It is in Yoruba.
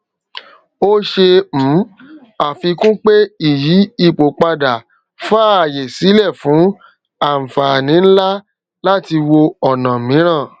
o ṣe um àfikún pé ìyí ipò padà faaye sílẹ fún ànfàní nlá láti wò ọna mìíràn